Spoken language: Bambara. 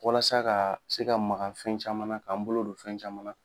Walasa ka se ka maka fɛn caman na k'a n bolo don fɛn caman na.